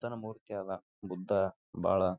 ಬುದ್ದನ ಮೂರ್ತಿಯಾದ ಬುದ್ದ ಬಹಳ--